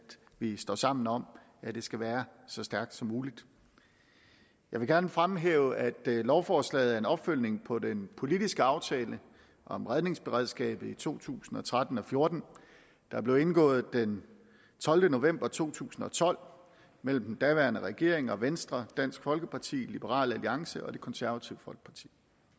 vi står sammen om at det skal være så stærkt som muligt jeg vil gerne fremhæve at lovforslaget er en opfølgning på den politiske aftale om redningsberedskabet i to tusind og tretten og fjorten der blev indgået den tolvte november to tusind og tolv mellem den daværende regering og venstre dansk folkeparti liberal alliance og det konservative folkeparti